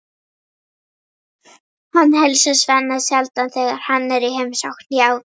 Hann heilsar Svenna sjaldan þegar hann er í heimsókn hjá